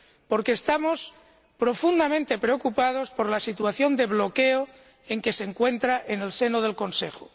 Porque estamos profundamente preocupados por la situación de bloqueo en que se encuentra en el seno del Consejo.